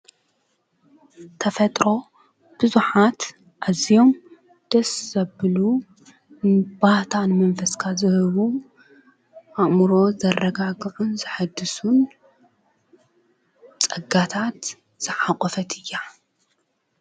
ተፈጥሮ ብዙሓት ኣዝዮም ደስ ዘብሉ ባህታ ንመንፈስካ ዝህቡ ኣእምሮ ዘረጋግዑን ዘሕድሱን ፀጋታት ዘሓቆፈት እያ።